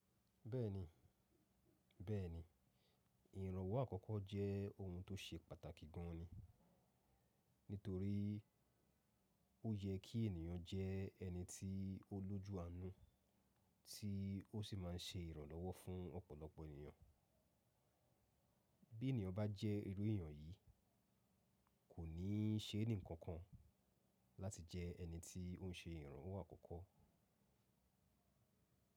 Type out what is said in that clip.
Bẹ́ẹ̀ni, bẹ́ẹ̀ni, ìrànwọ́ àkọ́kọ́ jẹ́ ohun tó ṣe pàtàkì gan ni, nítorí ó yẹ kí ènìyàn jẹ́ ẹni tí ó lójú àánú tí ó sì máa ń ṣe ìrànlọ́wọ́ fún ọ̀pọ̀lọpọ̀ ènìyàn. Bí ènìyàn bá jẹ́ irú èèyàn yìí, kò ní ṣe ẹnìkankan láti jẹ́ ẹni tí ó ń ṣe ìrànwọ́ àkọ́kọ́.